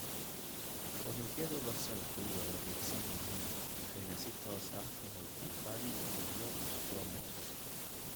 Unugyada Basalku waa wareegsan yihiin waxayna si toos ah u hoos jiifaan unugyo squamous.